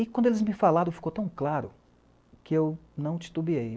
E, quando eles me falaram, ficou tão claro que eu não titubeei.